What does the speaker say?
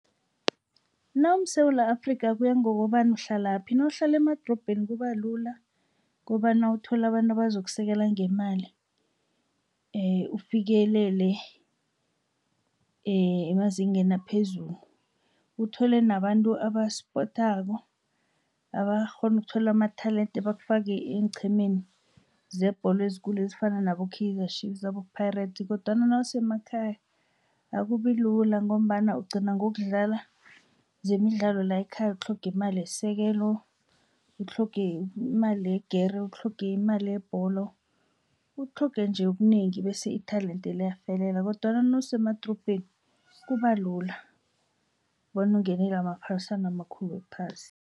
NawumSewula Afrika kuya ngokobana uhlalaphi nawuhlala emadorobheni kubalula kobana uthole abantu abazokusekela ngemali ufikelele emazingeni aphezulu. Uthole nabantu abasipothako abakghona ukuthola amatalende bakufake eenqhemeni zebholo ezikulu ezifana nabo-Kaizer Chiefs nabo-Parates kodwana nawusemakhaya akubilula ngombana ugcina ngokudlala zemidlalo la ekhaya utlhoge imali yesekelo, utlhoge imali yegere, utlhoge imali yebholo, utlhoge nje okunengi bese italende liyafelela kodwana nawusemadorobheni kubalula bona ungenele amaphaliswano amakhulu wephasi.